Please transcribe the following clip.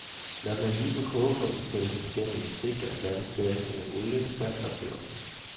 Når den er lige på kogepunktet hældes den gennem en sigte og blandes derefter med olie, salt og peber.